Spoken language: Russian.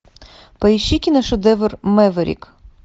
поищи киношедевр мэверик